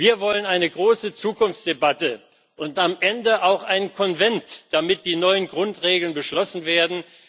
Wir wollen eine große Zukunftsdebatte und am Ende auch einen Konvent, damit die neuen Grundregeln beschlossen werden.